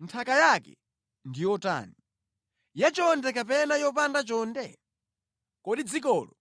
Nthaka yake ndi yotani? Yachonde kapena yopanda chonde? Kodi dzikolo